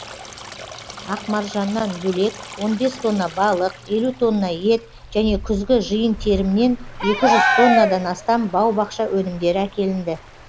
ақ маржаннан бөлек он бес тонна балық елу тонна ет және күзгі жиын терімнен екі жүз тоннадан астам бау бақша өнімдері әкелінді